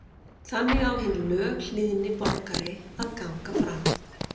Þannig á hinn löghlýðni borgari að ganga fram.